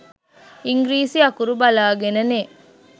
ඉංග්‍රීසි අකුරු බලාගෙන නේ.